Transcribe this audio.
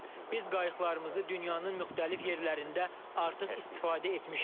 Biz qayıqlarımızı dünyanın müxtəlif yerlərində artıq istifadə etmişik.